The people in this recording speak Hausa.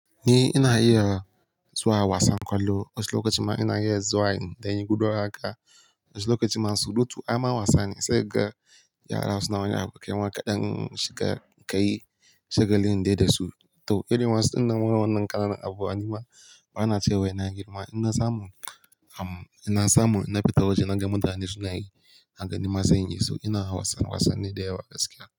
Ni ina iya zuwa wasan kwallo, wasu lokacin ma ina iya zuwa in daina guduwa haka. Wani lokacin ma surutu. Ama wasanni sai ga yara suna wani abun kaima kaɗan shiga ka yi, shaga lin dai da su. To, ƙaiɗi ma idan mun gama wannan kalan abu, anjima bana cewa ina girma. Ina samun, amma ina samun ina fita waje na ga mutane suna yi, na gani ma sanyi so ina wasan wasanni da yawa gaskiya.